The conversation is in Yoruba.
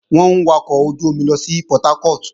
Wọ́n ń wọkọ̀ ojú-omi lọ sí Portharcourt